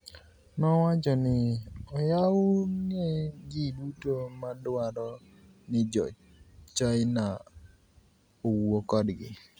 nowacho nii, "Oyawoni e ji duto ma dwaro nii Jo Chinia owuo kodgi. "